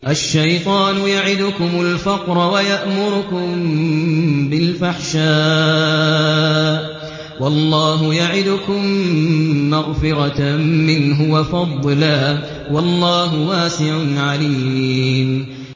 الشَّيْطَانُ يَعِدُكُمُ الْفَقْرَ وَيَأْمُرُكُم بِالْفَحْشَاءِ ۖ وَاللَّهُ يَعِدُكُم مَّغْفِرَةً مِّنْهُ وَفَضْلًا ۗ وَاللَّهُ وَاسِعٌ عَلِيمٌ